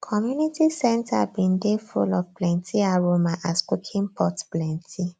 community centre bin dey full of plenty aroma as cooking pots plenty